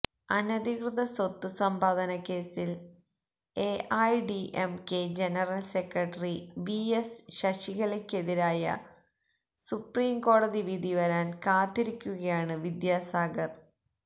അനധികൃത സ്വത്ത് സമ്പാദനക്കേസില് AIADMK general secretary V S ശശികലയ്ക്കെതിരായ സുപ്രീം കോടതി വിധി വരാന് കാത്തിരിക്കുകയാണ് വിദ്യാസാഗര്